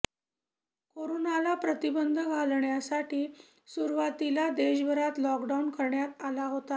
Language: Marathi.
कोरोनाला प्रतिबंध घालण्यासाठी सुरुवातीला देशभरात लॉकडाऊन करण्यात आला होता